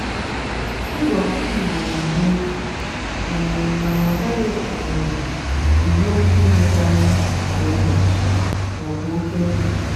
ịzụ ọkụkọ igbo na egbu oge um mana ọ naghị um egbu oke inedo anya kwa ụbọchị maọbu oke nri.